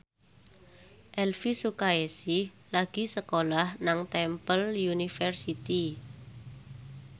Elvi Sukaesih lagi sekolah nang Temple University